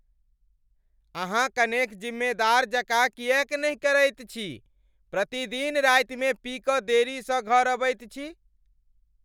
अहाँ कनेक जिम्मेदार जकाँ किएक नहि करैत छी? प्रतिदिन रातिमे पी कऽ देरीसँ घर अबैत छी।